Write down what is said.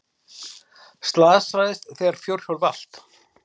Slasaðist þegar fjórhjól valt